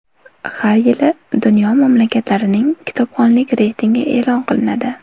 Har yili dunyo mamlakatlarining kitobxonlik reytingi e’lon qilinadi.